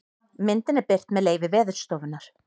myndin er birt með leyfi veðurstofunnar